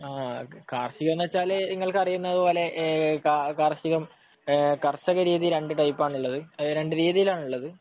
കാർഷികം എന്നുവെച്ചാൽ നിങ്ങൾക്ക് അറിയുന്നതുപോലെ ഏഹ് കാർഷികം എഹ് കർഷകരീതി രണ്ടു ടൈപ്പ് ആണുള്ളത്. രണ്ടു രീതിയിലാണുള്ളത്.